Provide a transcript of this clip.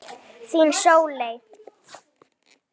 Þín, Sóley.